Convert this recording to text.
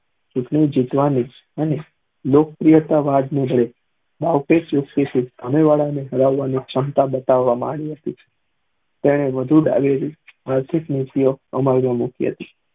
ચુટણી જીતવાની અને લોકપ્રિયતા શમતા બતાવ માં આયી હતી તેને વધુ આર્થીક